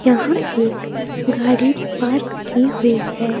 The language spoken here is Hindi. यहां एक गाड़ी पार्क की हुई है।